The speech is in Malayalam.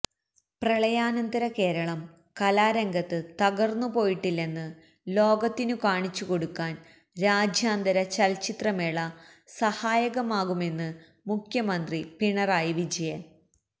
പ്രളയാനന്തര കേരളം കലാരംഗത്ത് തകര്ന്നുപോയിട്ടില്ലെന്ന് ലോകത്തിനു കാണിച്ചുകൊടുക്കാന് രാജ്യാന്തര ചലച്ചിത്രമേള സഹായകമാകുമെന്ന് മുഖ്യമന്ത്രി പിണറായി വിജയന്